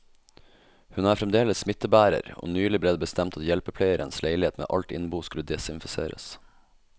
Hun er fremdeles smittebærer, og nylig ble det bestemt at hjelpepleierens leilighet med alt innbo skulle desinfiseres.